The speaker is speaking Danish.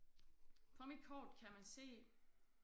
På mit kort kan man se